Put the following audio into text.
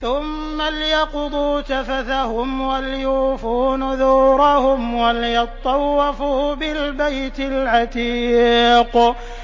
ثُمَّ لْيَقْضُوا تَفَثَهُمْ وَلْيُوفُوا نُذُورَهُمْ وَلْيَطَّوَّفُوا بِالْبَيْتِ الْعَتِيقِ